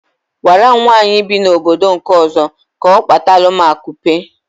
Agwaram nwaanyị bi na obodo nke ọzọ, ka ọ kpatalum akupe